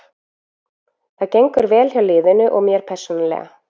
Það gengur vel hjá liðinu og mér persónulega.